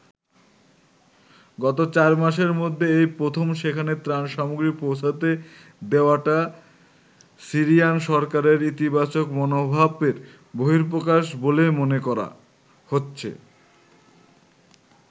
গত চারমাসের মধ্যে এই প্রথম সেখানে ত্রাণ সামগ্রী পৌঁছোতে দেওয়াটা সিরিয়ান সরকারের ইতিবাচক মনোভাবের বহিঃপ্রকাশ বলেই মনে করা হচ্ছে।